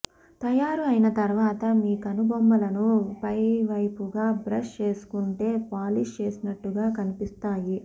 తయారు అయిన తరువాత మీ కనుబొమ్మలను పైవైపుగా బ్రష్ చేసుకుంటే పాలిష్ చేసినట్లుగా కనిపిస్తాయి